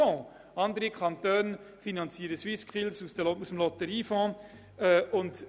Andere Kantone finanzieren solche Dinge aus dem Lotteriefonds.